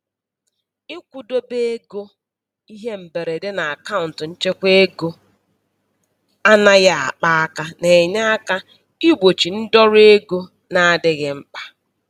Ịkwụdobe ego ihe mberede n'akaụnt nchekwaego anaghị akpa aka na-enye aka igbochi ndọrọ ego na-adịghị mkpa.